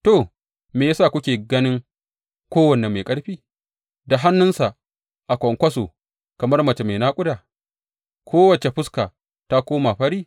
To, me ya sa kuke ganin kowane mai ƙarfi da hannuwansa a kwankwaso kamar mace mai naƙuda, kowace fuska ta koma fari?